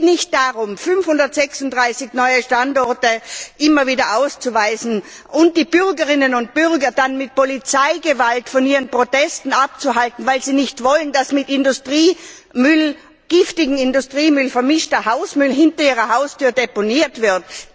Es geht nicht darum, 536 neue Standorte immer wieder auszuweisen und die Bürgerinnen und Bürgern dann mit Polizeigewalt von ihren Protesten abzuhalten, weil sie nicht wollen, dass mit giftigem Industriemüll vermischter Hausmüll hinter ihrer Haustür deponiert wird.